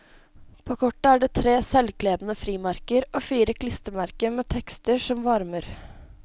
På kortet er det tre selvklebende frimerker og fire klistremerker med tekster som varmer.